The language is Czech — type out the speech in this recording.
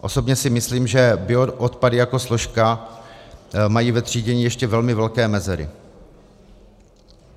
Osobně si myslím, že bioodpady jako složka mají v třídění ještě velmi velké mezery.